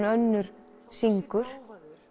önnur syngur